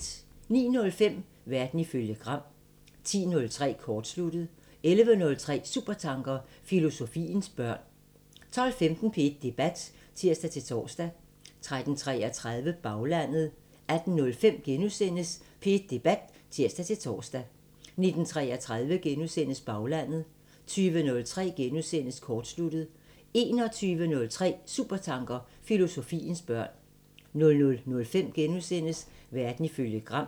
09:05: Verden ifølge Gram 10:03: Kortsluttet 11:03: Supertanker: Filosofiens børn 12:15: P1 Debat (tir-tor) 13:33: Baglandet 18:05: P1 Debat *(tir-tor) 19:33: Baglandet * 20:03: Kortsluttet * 21:03: Supertanker: Filosofiens børn 00:05: Verden ifølge Gram *